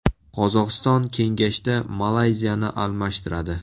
Qozog‘iston kengashda Malayziyani almashtiradi.